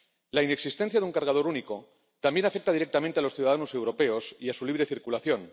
La inexistencia de un cargador único también afecta directamente a los ciudadanos europeos y a su libre circulación.